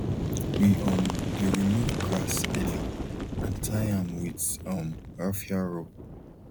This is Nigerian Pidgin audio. we um dey remove grass early and tie am with um raffia rope